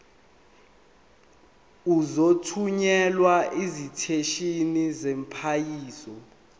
uzothunyelwa esiteshini samaphoyisa